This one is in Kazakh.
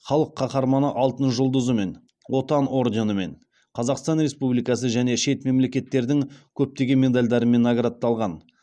халық қаһарманы алтын жұлдызымен отан орденімен қазақстан республикасы және шет мемлекеттердің көптеген медальдарымен наградталған